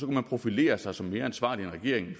man profilere sig som mere ansvarlig end regeringen i